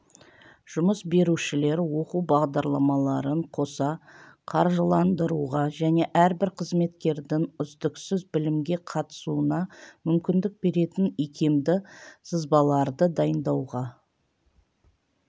жұмыс берушілер оқу бағдарламаларын қоса қаржыландыруға және әрбір қызметкердің үздіксіз білімге қатысуына мүмкіндік беретін икемді сызбаларды дайындауға